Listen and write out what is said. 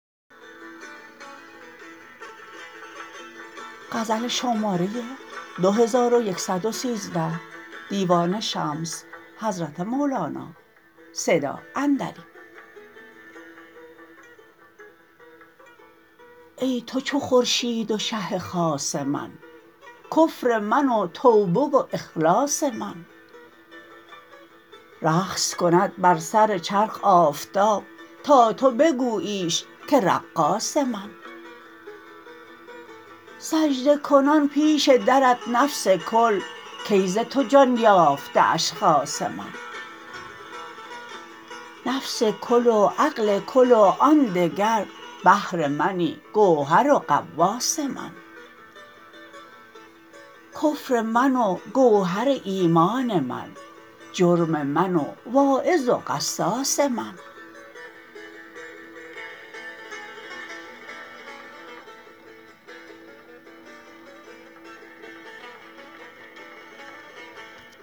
ای تو چو خورشید و شه خاص من کفر من و توبه و اخلاص من رقص کند بر سر چرخ آفتاب تا تو بگوییش که رقاص من سجده کنان پیش درت نفس کل کای ز تو جان یافته اشخاص من نفس کل و عقل کل و آن دگر بحر منی گوهر و غواص من کفر من و گوهر ایمان من جرم من و واعظ و قصاص من